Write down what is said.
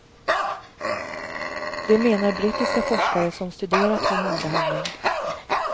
Det menar brittiska forskare som studerat hormonbehandling.